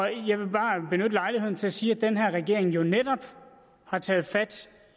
jeg vil bare benytte lejligheden til at sige at den her regering jo netop har taget fat